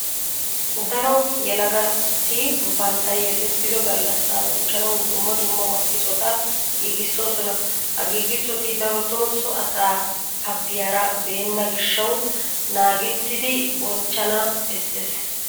Daro yelagati bantta yelettido gallassaa bonchchanawu dumma dumma makkisota giigissoosona. Ha giigissoti darotoo so asaa abbiyara beenna gishshawu naagettidi bonchchana bessees.